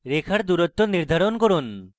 রেখার দুরুত্ব নির্ধারণ করুন